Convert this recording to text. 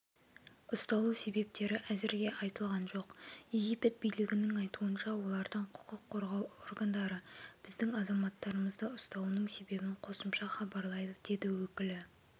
ұсталу себептері әзірге айтылған жоқ египет билігінің айтуынша олардың құқық қорғау органдарыбіздің азаматтарымызды ұстауының себебін қосымша хабарлайды деді өкілі